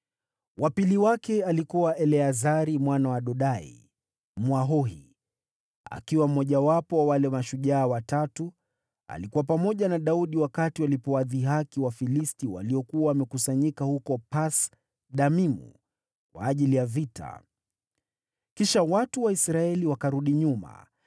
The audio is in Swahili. Wa pili wake alikuwa Eleazari mwana wa Dodai, Mwahohi. Akiwa mmojawapo wa wale mashujaa watatu, alikuwa pamoja na Daudi wakati waliwadhihaki Wafilisti waliokuwa wamekusanyika huko Pas-Damimu kwa ajili ya vita. Kisha watu wa Israeli wakarudi nyuma,